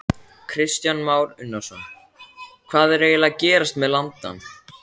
Kristján Már Unnarsson: Hvað er eiginlega að gerast með landann?